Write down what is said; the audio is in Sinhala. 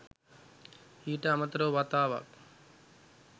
ඊට අමතරව වතාවක්